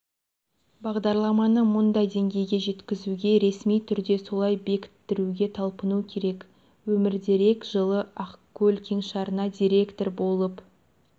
бағдарламаны мұндай деңгейге жеткізуге ресми түрде солай бекіттіруге талпыну керек өмірдерек жылы ақкөл кеңшарына директор болып